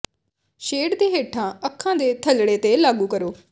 shade ਦੇ ਹੇਠਾਂ ਅੱਖਾਂ ਦੇ ਥੱਲੜੇ ਤੇ ਲਾਗੂ ਕਰੋ